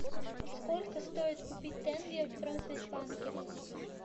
сколько стоит купить тенге в промсвязьбанке